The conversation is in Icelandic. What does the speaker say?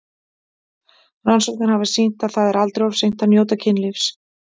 Rannsóknir hafa sýnt að það er aldrei of seint að njóta kynlífs.